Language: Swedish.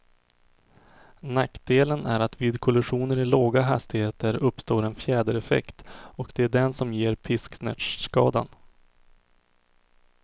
Nackdelen är att vid kollisioner i låga hastigheter uppstår en fjädereffekt, och det är den som ger pisksnärtskadan.